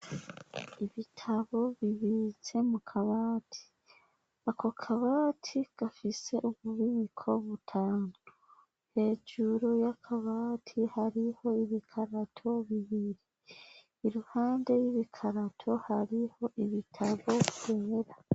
Ibitabo bibitse mu kabati. Ako kabati gafise ububiko butanu hejuru y'akabati hariho ibikarato bibiri iruhande y'ibikarato hariho ibitabo kumera.